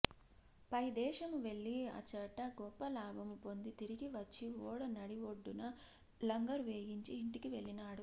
పైదేశము వెళ్లి అచ్చట గొప్ప లాభము పొంది తిరిగి వచ్చి ఓడ నడిబొడ్డున లంగరు వేయించి ఇంటికి వెళ్ళినాడు